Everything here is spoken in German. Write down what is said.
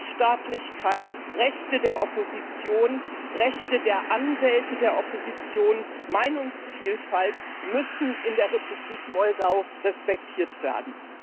Rechtsstaatlichkeit, Rechte der Opposition, Rechte der Anwälte der Opposition, Meinungsvielfalt müssen in der Republik Moldau respektiert werden.